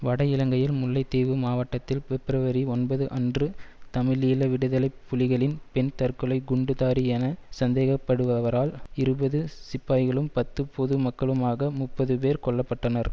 வட இலங்கையில் முல்லைத்தீவு மாவட்டத்தில் பிப்ரவரி ஒன்பது அன்று தமிழீழ விடுதலை புலிகளின் பெண் தற்கொலை குண்டுதாரி என சந்தேகப்படுபவரால் இருபது சிப்பாய்களும் பத்து பொது மக்களுமாக முப்பது பேர் கொல்ல பட்டனர்